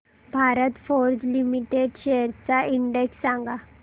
Bharat Forge limited shares चा index सांगा